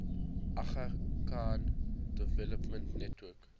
aga khan development network